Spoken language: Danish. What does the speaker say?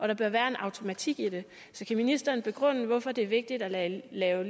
der bør være en automatik i det så kan ministeren begrunde hvorfor det er vigtigt at lave